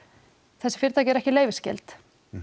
þessi fyrirtæki eru ekki leyfisskyld